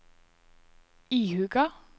ihuga